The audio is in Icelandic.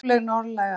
Róleg norðlæg átt